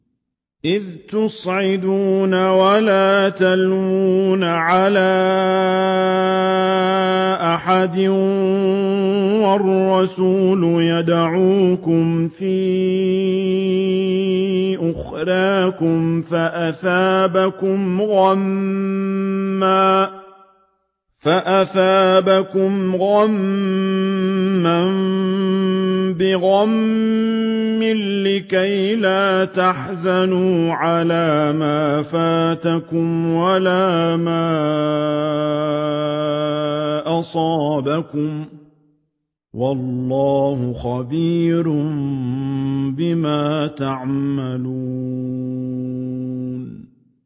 ۞ إِذْ تُصْعِدُونَ وَلَا تَلْوُونَ عَلَىٰ أَحَدٍ وَالرَّسُولُ يَدْعُوكُمْ فِي أُخْرَاكُمْ فَأَثَابَكُمْ غَمًّا بِغَمٍّ لِّكَيْلَا تَحْزَنُوا عَلَىٰ مَا فَاتَكُمْ وَلَا مَا أَصَابَكُمْ ۗ وَاللَّهُ خَبِيرٌ بِمَا تَعْمَلُونَ